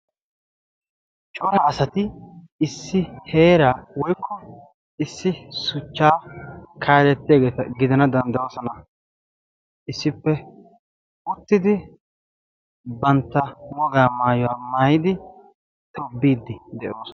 Cora asati issi heeraawoykko issi shuchchaa kaalettiyageeta gidana danddayoosona. Issippe uttidi bantta wogaa maayuwa maayidi tobbiiddi de'oosona.